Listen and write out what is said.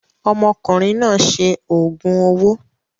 Ọmọkùnrin náà ṣe òògùn owó.